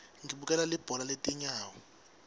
ngibukela libhola letinyawo